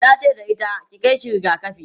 tace da ita"ki Kai shi rigakafi!'